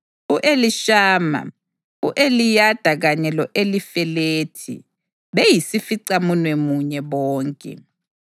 u-Elishama, u-Eliyada kanye lo-Elifelethi, beyisificamunwemunye bonke.